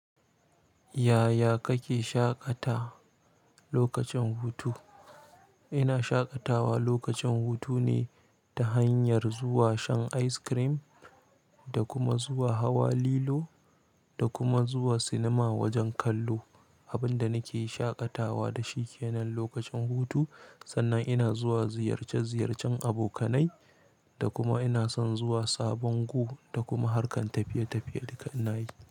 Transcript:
Yaya kake shaƙata lokacin hutu? Ina shaƙatawa lokacin hutu ne ta hanyar zuwa shan ice cream da kuma zuwa hawa lilo da kuma zuwa sinima wajen kallo. Abin da nake shaƙatawa da shi kenan lokacin hutu, sannan ina zuwa ziyarce-ziyarcen abokanai da kuma ina son zuwa sabon gu, da kuma harkan tafiye-tafiye duka inayi.